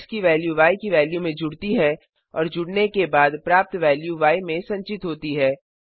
x की value य की वेल्यू में जुड़ती है और जुड़ने के बाद प्राप्त वेल्यू य में संचित होती है